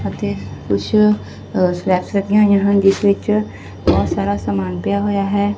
ਅਤੇ ਕੁੱਛ ਅ ਸਲੈਬਸ ਲੱਗੀਆਂ ਹੋਈਆਂ ਹਨ ਜਿਸ ਵਿੱਚ ਬਹੁਤ ਸਾਰਾ ਸਮਾਨ ਪਿਆ ਹੋਇਆ ਹੈ।